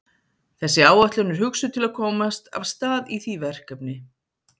Þessi áætlun er hugsuð til að komast af stað í því verkefni.